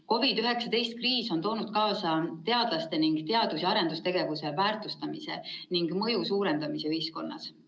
COVID‑19 kriis on toonud kaasa teadlaste ning teadus‑ ja arendustegevuse väärtustamise ning mõju suurenemise ühiskonnas.